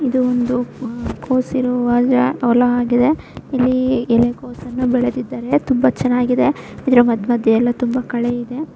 ಇದು ಒಂದು ಆಹ್ಹ್ ಕೊಸಿರುವ ಹೊಲ ಆಗಿದೆ ಇಲ್ಲಿ ಎಲೆಕೋಸನ್ನು ಬೆಳೆದಿದ್ದಾರೆ ತುಂಬಾ ಚೆನ್ನಾಗಿದೆ ಇದರ ಮದ್ ಮಧ್ಯ ಎಲ್ಲ ತುಂಬಾ ಕಳೆ ಇದೆ.